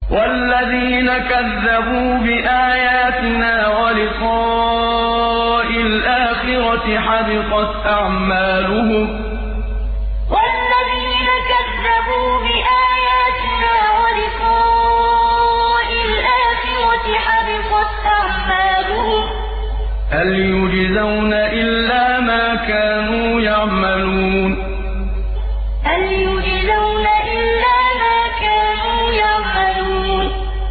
وَالَّذِينَ كَذَّبُوا بِآيَاتِنَا وَلِقَاءِ الْآخِرَةِ حَبِطَتْ أَعْمَالُهُمْ ۚ هَلْ يُجْزَوْنَ إِلَّا مَا كَانُوا يَعْمَلُونَ وَالَّذِينَ كَذَّبُوا بِآيَاتِنَا وَلِقَاءِ الْآخِرَةِ حَبِطَتْ أَعْمَالُهُمْ ۚ هَلْ يُجْزَوْنَ إِلَّا مَا كَانُوا يَعْمَلُونَ